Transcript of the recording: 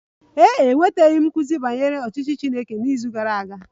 Ee e, enwetaghị m nkuzi banyere ọchịchị Chineke n'izu gara aga